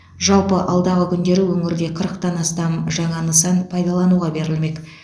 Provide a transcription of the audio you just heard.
жалпы алдағы күндері өңірде қырықтан астам жаңа нысан пайдалануға берілмек